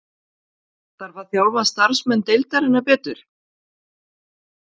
Þarf að þjálfa starfsmenn deildarinnar betur?